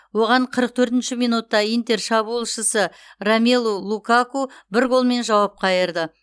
оған қырық төртінші минутта интер шабуылшысы ромелу лукаку бір голмен жауап қайырды